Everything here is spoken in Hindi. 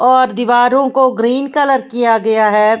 और दीवारों को ग्रीन कलर किया गया हैं।